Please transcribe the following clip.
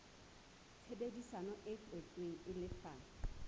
tshebedisano e kwetsweng e lefa